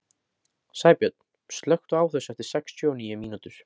Sæbjörn, slökktu á þessu eftir sextíu og níu mínútur.